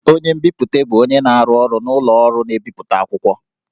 Onye nbipute bụ onye na-arụ ọrụ n'ụlọ ọrụ na-ebipụta akwụkwọ